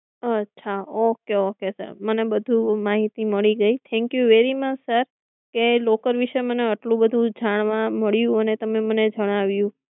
અચ્છા okay okay sir મને બધું માહિતી મળી ગયી thank you very much sir કે તમે locker વિષે મને આટલું બધું જાણવા મળ્યું અને તમે મને જણાવ્યું